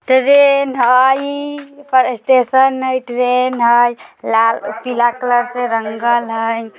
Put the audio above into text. ट्रेन हई पर स्टेशन हई ट्रेन हई लाल-पीला कलर से रंगल हई।